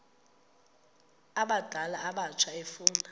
abadala abatsha efuna